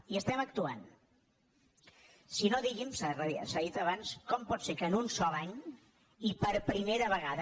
i estem actuant si no digui’m s’ha dit abans com pot ser que en un sol any i per primera vegada